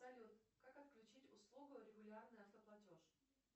салют как отключить услугу регулярный автоплатеж